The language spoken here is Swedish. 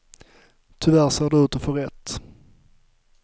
Tyvärr ser de ut att få rätt.